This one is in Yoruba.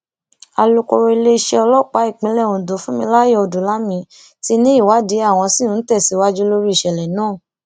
alūkọrọ iléeṣẹ ọlọpàá ìpínlẹ ondo funmilayo ọdúnlami ti ní ìwádìí àwọn ṣì ń tẹsíwájú lórí ìṣẹlẹ náà